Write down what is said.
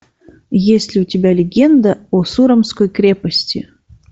есть ли у тебя легенда о сурамской крепости